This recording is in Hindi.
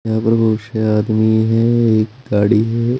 यहां पे बहुत से आदमी हैं एक गाड़ी है।